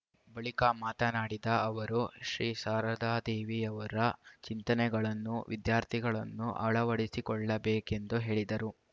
ಬಳಿಕ ಮಾತನಾಡಿದ ಅವರು ಶ್ರೀ ಶಾರದಾದೇವಿಯವರ ಚಿಂತನೆಗಳನ್ನು ವಿದ್ಯಾರ್ಥಿಗಳನ್ನು ಅಳವಡಿಸಿಕೊಳ್ಳಬೇಕೆಂದು ಹೇಳಿದರು